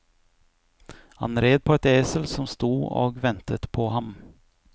Han red på et esel som sto og ventet på ham.